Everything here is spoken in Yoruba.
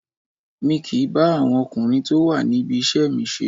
Mi kìí bá àwọn ọkùnrin tó wà níbi iṣẹ́ mi ṣe